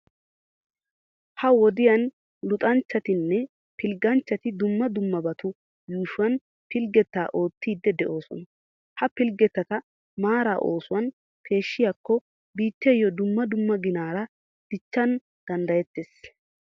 Ha"i wodiyan luxanchchatinne pilgganchchati dumma dummabatu yuushuwan pilggettaa oottiiddi de'oosona. Ha pilggettata maara oosuwan peeshshikko biittiyo dumma dumma ginaara dichchana danddayeettees.